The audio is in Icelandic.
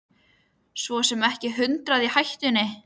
Svo sem ekki hundrað í hættunni.